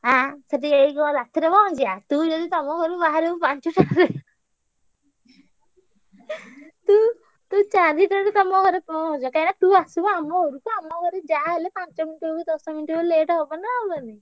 ଆଁ ସେଠି ଯାଇକି କଣ ରାତିରେ ପହଁଞ୍ଚିଆ ତୁ ଯଦି ତମ ଘରୁ ବାହାରିବୁ ପାଞ୍ଚୁଟାରେ ତୁ ତୁ ଚାରିଟାରେ ତମ ଘରେ ପହଁଞ୍ଚ କାହିଁକିନା ତୁ ଆସିବୁ ଆମ ଘରକୁ ଆମ ଘରେ ଯାହା ହେଲେ ପାଞ୍ଚ minute ହଉ ଦଶ minute ହଉ late ହବ ନା ଆଉ ।